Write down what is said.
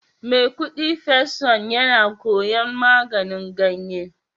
Maikudi first son yana koyon maganin ganye